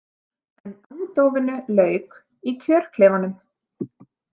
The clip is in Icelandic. En andófinu lauk í kjörklefanum.